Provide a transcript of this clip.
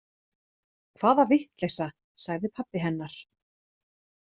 Hvaða vitleysa, sagði pabbi hennar.